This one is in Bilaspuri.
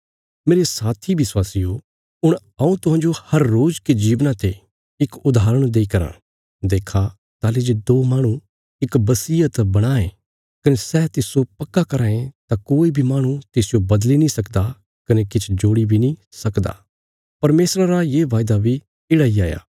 मेरे साथी विश्वासियो हुण हऊँ तुहांजो हर रोज के जीवना ते इक उदाहरण देई कराँ देक्खा ताहली जे दो माहणु इक बसीयत बणां यें कने सै तिस्सो पक्का कराँ ये तां कोई बी माहणु तिसजो बदली नीं सकदा कने किछ जोड़ी बी नीं सकदा परमेशरा रा ये वायदा बी येढ़ा इ हाया